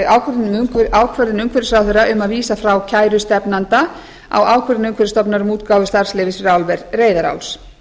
ákvörðun umhverfisráðherra um að vísa frá kæru stefnanda á ákvörðun umhverfisstofnunar um útgáfu starfsleyfis fyrir álver reyðaráls